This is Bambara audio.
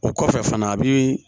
O kɔfɛ fana a bi